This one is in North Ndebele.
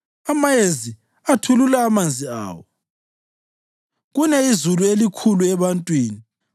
amayezi athulula amanzi awo kune izulu elikhulu ebantwini.